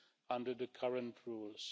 under the current rules.